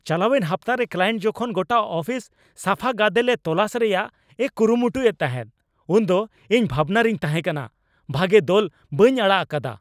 ᱪᱟᱞᱟᱣᱮᱱ ᱦᱟᱯᱛᱟᱨᱮ ᱠᱞᱟᱭᱮᱱᱴ ᱡᱚᱠᱷᱚᱱ ᱜᱚᱴᱟ ᱟᱯᱷᱤᱥ ᱥᱟᱯᱷᱟ ᱜᱟᱫᱮᱞᱮ ᱛᱚᱞᱟᱥ ᱨᱮᱭᱟᱜ ᱮ ᱠᱩᱨᱩᱢᱩᱭᱮᱫ ᱛᱟᱦᱮᱸ ᱩᱱ ᱫᱚ ᱤᱧ ᱵᱷᱟᱵᱱᱟ ᱨᱤᱧ ᱛᱟᱦᱮᱸ ᱠᱟᱱᱟ᱾ ᱵᱷᱟᱹᱜᱮ ᱫᱚᱞ ᱵᱟᱹᱧ ᱟᱲᱟᱜ ᱟᱠᱟᱫᱟ ᱾